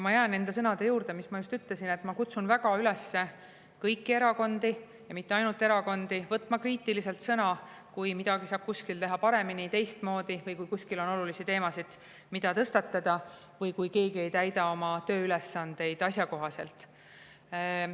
Ma jään enda sõnade juurde, mis ma just ütlesin, et ma kutsun väga üles kõiki erakondi, ja mitte ainult erakondi, võtma kriitiliselt sõna, kui midagi saab kuskil teha paremini, teistmoodi, kui kuskil on olulisi teemasid, mida tõstatada, või kui keegi ei täida oma tööülesandeid asjakohaselt.